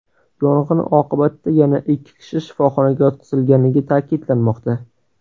Yong‘in oqibatida yana ikki kishi shifoxonaga yotqizilganligi ta’kidlanmoqda.